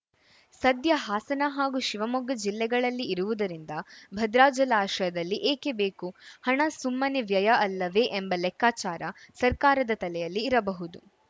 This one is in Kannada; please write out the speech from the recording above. ಸದ್ಯ ಹಾಸನ ಹಾಗೂ ಶಿವಮೊಗ್ಗ ಜಿಲ್ಲೆಗಳಲ್ಲಿ ಇರುವುದರಿಂದ ಭದ್ರಾ ಜಲಾಶಯದಲ್ಲಿ ಏಕೆ ಬೇಕು ಹಣ ಸುಮ್ಮನೆ ವ್ಯಯ ಅಲ್ಲವೇ ಎಂಬ ಲೆಕ್ಕಚಾರ ಸರ್ಕಾರದ ತಲೆಯಲ್ಲಿ ಇರಬಹುದು